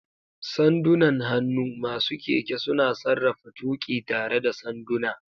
Sandunan hannu: Masu keke suna sarrafa tuƙi tare da sanduna.